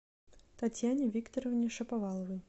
татьяне викторовне шаповаловой